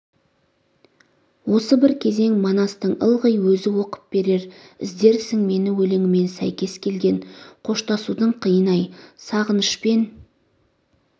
осы бір кезең манастың ылғи өзі оқып берер іздерсің мені өлеңімен сәйкес келген қоштасудың қиыны-ай сағынышпен